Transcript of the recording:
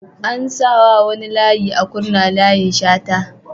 An sa wa wani layi a Kurna "Layin Shata"